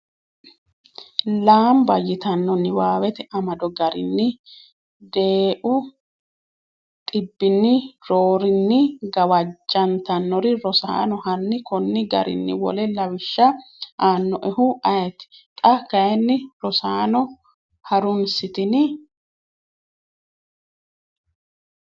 lamba yitano Niwaawete amado garinni deeu dhibbinni roorinni gawajjantannori Rosaano hanni konni garinni wole lawishsha aannoehu ayeeti? Xa kayinni Rosaano ha’runsitini?